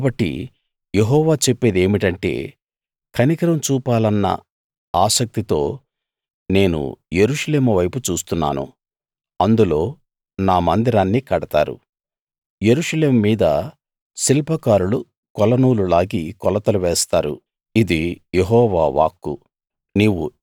కాబట్టి యెహోవా చెప్పేది ఏమిటంటే కనికరం చూపాలన్న ఆసక్తితో నేను యెరూషలేము వైపు చూస్తున్నాను అందులో నా మందిరాన్ని కడతారు యెరూషలేము మీద శిల్పకారులు కొలనూలు లాగి కొలతలు వేస్తారు ఇది యెహోవా వాక్కు